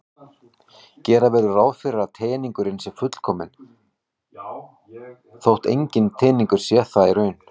Gera verður ráð fyrir að teningurinn sé fullkominn þótt enginn teningur sé það í raun.